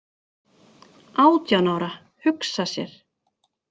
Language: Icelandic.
Átján ára, hugsa sér!